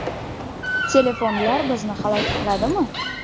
Telefonlar bizni halok qiladimi?